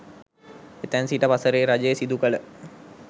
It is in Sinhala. එතැන් සිට වසරේ රජය සිදුකළ